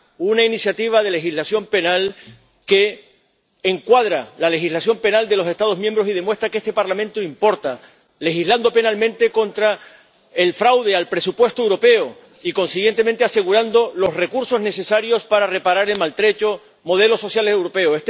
una iniciativa de legislación penal que encuadra la legislación penal de los Estados miembros y demuestra que este Parlamento importa, legislando penalmente contra el fraude al presupuesto europeo y, consiguientemente, asegurando los recursos necesarios para reparar el maltrecho modelo social europeo.